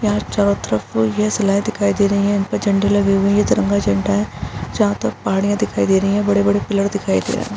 यहाँ चारो तरफ ये शिलायें दिखाई दे रहीं हैं इनपे झंडे लगे हुए हैं ये तिरंगा झंडा है जहाँ तक पहाड़ियां दिखाई दे रही हैं बड़े-बड़े पिलर दिखाई दे रहे हैं।